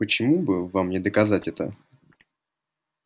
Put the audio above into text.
почему бы вам не доказать это